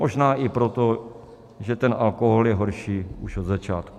Možná i proto, že ten alkohol je horší už od začátku.